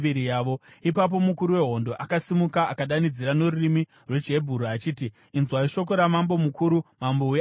Ipapo mukuru wehondo akasimuka akadanidzira norurimi rwechiHebheru achiti, “Inzwai shoko ramambo mukuru, mambo weAsiria!